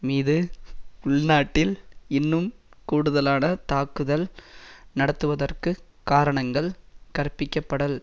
மீது உள்நாட்டில் இன்னும் கூடுதலான தாக்குதல் நடத்துவதற்குக் காரணங்கள் கற்பிக்கப்படல்